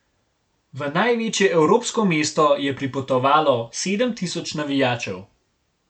V največje evropsko mesto je pripotovalo sedem tisoč navijačev.